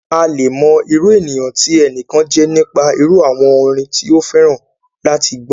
A le è mọ irú ènìyàn tí ẹnìkan jẹ́ nípa irú àwọn orin tí ó fẹ́ràn láti gbọ́.